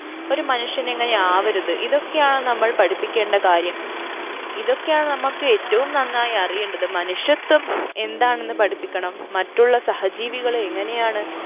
ഒരു മനുഷ്യൻ എങ്ങനെ ആവരുത് ഇതൊക്കെയാണ് നമ്മൾ പഠിപ്പിക്കേണ്ട കാര്യം ഇതൊക്കെയാണ് നമ്മക്ക് ഏറ്റവും നന്നായി അറിയേണ്ടത് മനുഷ്യത്വം എന്താണെന്ന് പഠിപ്പിക്കണം മറ്റുള്ള സഹജീവികളെ എങ്ങനെയാണ്